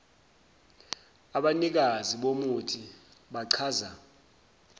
abanikazi bomuthi bachaza